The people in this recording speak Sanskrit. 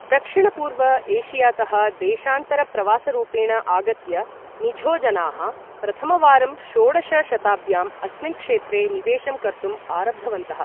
दक्षिणपूर्व एशियातः देशान्तरप्रवासरूपेण आगत्य मिझोजनाः प्रथमवारं षोडश शताब्द्याम् अस्मिन् क्षेत्रे निवेशं कर्तुम् आरब्धवन्तः।